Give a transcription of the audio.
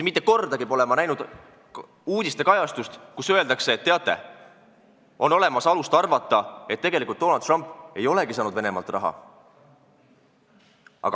Mitte kordagi pole ma näinud kajastust, kus öeldaks, et teate, on alust arvata, et tegelikult Donald Trump ei olegi saanud Venemaalt raha.